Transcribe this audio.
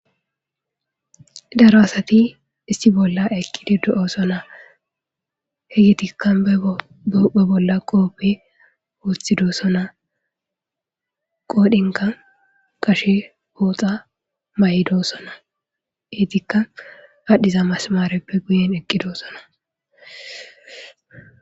Daro asati issi bolla eqqi dosona. Keehidikka be hu'e bolla qoofe woththidosona. Qoodhdhenkka gashe pooxa mayidoosona. Etikka aadhdhiza masimaareppe guyen eqqidoosona.